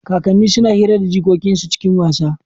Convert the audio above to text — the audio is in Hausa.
Kakanni suna hira da jikokin su cikin wasa.